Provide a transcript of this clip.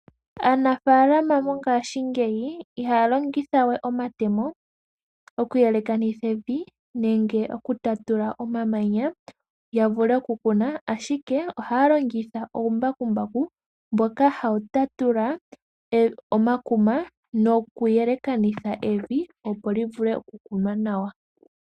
Aanafalama mongashingeyi ihaya longitha we omatemo, okuyelekanitha evi nenge okutatula omamanya ya vule ku kuna. Ashike ohaya longitha uumbakumbaku mboka hawu tatula omakuma nokuyelekanitha evi, opo li vule okukunwa nawa.